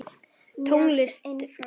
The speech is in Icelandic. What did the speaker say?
Góð tónlist og létt spjall.